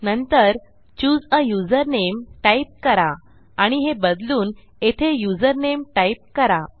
नंतर चूसे आ username type करा आणि हे बदलून येथे युझरनेम टाईप करा